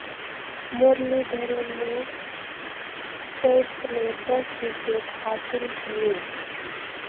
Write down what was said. مرلی دھرن نے ٹیسٹ میں دس وکٹیں حاصل کیں